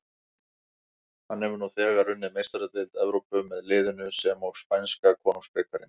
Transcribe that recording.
Hann hefur nú þegar unnið Meistaradeild Evrópu með liðinu sem og spænska konungsbikarinn.